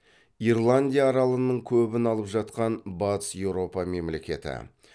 ирландия аралының көбін алып жатқан батыс еуропа мемлекеті